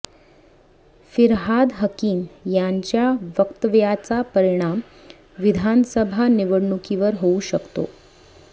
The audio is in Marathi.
फिरहाद हकीम यांच्या वक्तव्याचा परिणाम विधानसभा निवडणुकीवर होऊ शकतो